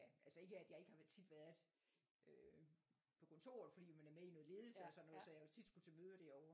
Altså ikke at jeg ikke har været tit været øh på kontoret fordi man er med i noget ledelse og sådan noget så jeg har jo tit skulle til møder derover